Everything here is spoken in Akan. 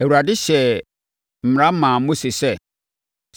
Awurade hyɛɛ mmara maa Mose sɛ,